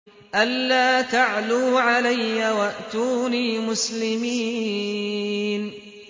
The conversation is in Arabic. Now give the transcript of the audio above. أَلَّا تَعْلُوا عَلَيَّ وَأْتُونِي مُسْلِمِينَ